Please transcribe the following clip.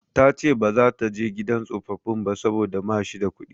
Ta ce ba za ta je gidan tsofaffin ba saboda ma shi da kuɗi.